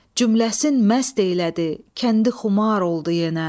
Cümləsin məst elədi, kəndi xumar oldu yenə.